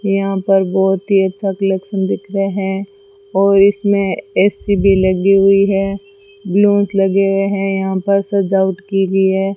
यहां पर बहोत ही अच्छा कलेक्शन दिख रहे है और इसमें ए_सी भी लगी हुई है बलोंस लगे हुए है यहां पर सजावट के लिए --